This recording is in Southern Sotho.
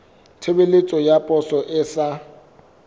tshebeletso ya poso e sa